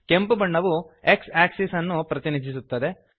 ಕೆಂಪು ಬಣ್ಣವು X axis ಅನ್ನು ಪ್ರತಿನಿಧಿಸುತ್ತದೆ